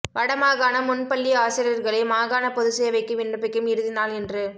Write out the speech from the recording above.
வடமாகாண முன்பள்ளி ஆசிரியர்களை மாகாண பொதுச்சேவைக்கு விண்ணப்பிக்கும் இறுதி நாள் இன்று